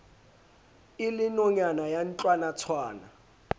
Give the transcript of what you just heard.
e le nonyana ya ntlwanatshwana